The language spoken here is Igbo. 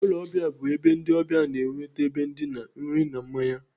Ụlọ ọbịa bụ ebe ndị ọbịa na-enweta ebe ndina, nri na mmanya.